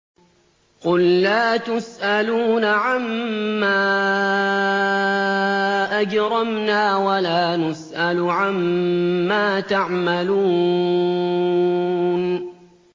قُل لَّا تُسْأَلُونَ عَمَّا أَجْرَمْنَا وَلَا نُسْأَلُ عَمَّا تَعْمَلُونَ